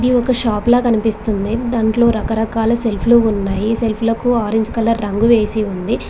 ఇది ఒక షాప్ లా కనిపిస్తుంది దాంట్లో రకరకాల సెల్ఫ్లు ఉన్నాయి సెల్ఫ్ లకు ఆరెంజ్ కలర్ రంగు వేసి ఉంది.